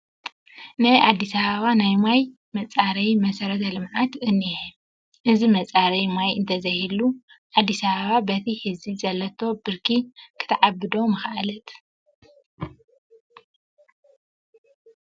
ናይ ኣዲስ ኣባባ ናይ ማይ መፃረያ መሰረተ ልምዓት እኒሀ፡፡ እዚ መፃረዪ ማይ እንተዘይህሉ ኣዲስ ኣባባ በቲ ሕዚ ዘለቶ ብርኪ ክትዓቢ ዶ ምኸኣለት?